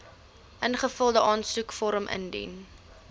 ingevulde aansoekvorm indien